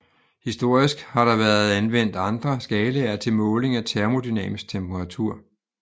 Historisk har der været anvendt andre skalaer til måling af termodynamisk temperatur